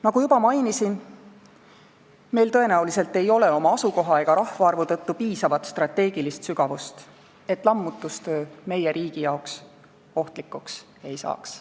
Nagu juba mainisin, meil tõenäoliselt ei ole oma asukoha ega rahvaarvu tõttu piisavat strateegilist sügavust, et lammutustöö meie riigi jaoks ohtlikuks ei saaks.